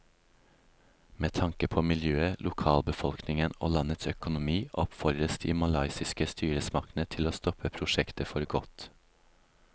Med tanke på miljøet, lokalbefolkningen og landets økonomi oppfordres de malaysiske styresmaktene til å stoppe prosjektet for godt.